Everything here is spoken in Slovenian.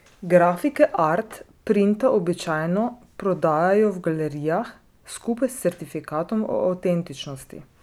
Grafike art printa običajno prodajajo v galerijah skupaj s certifikatom o avtentičnosti.